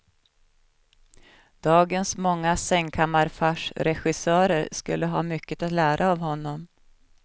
Dagens många sängkammarfarsregissörer skulle ha mycket att lära av honom.